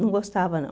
Não gostava, não.